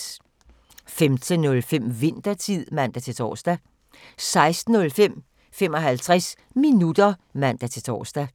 15:05: Winthertid (man-tor) 16:05: 55 minutter (man-tor)